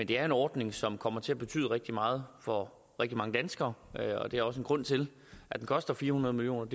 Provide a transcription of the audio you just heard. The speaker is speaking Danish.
det er en ordning som kommer til at betyde rigtig meget for rigtig mange danskere og det er også en grund til at den koster fire hundrede million